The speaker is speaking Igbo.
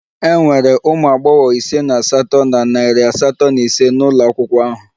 E nwere ụmụ agbọghọ ise na asatọ na narị asatọ na ise n'ụlọ akwụkwọ ahụ